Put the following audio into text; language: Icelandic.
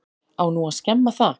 Á nú að skemma það?